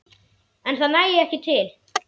En það nægi ekki til.